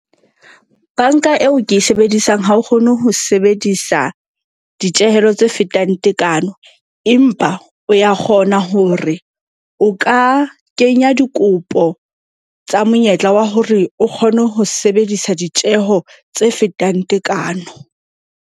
Bank-a eo ke e sebedisang ha o kgone ho sebedisa ditjehelo tse fetang tekano. Empa o ya kgona hore o ka kenya dikopo tsa monyetla wa hore o kgone ho sebedisa ditjeho tse fetang tekano.